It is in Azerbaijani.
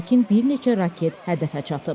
Lakin bir neçə raket hədəfə çatıb.